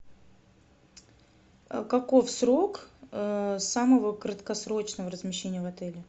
каков срок самого краткосрочного размещения в отеле